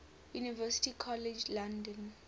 university college london